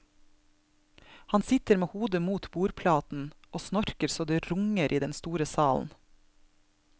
Han sitter med hodet mot bordplaten og snorker så det runger i den store salen.